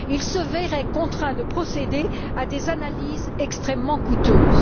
Ils se verraient contraints de procéder à des analyses extrêmement coûteuses.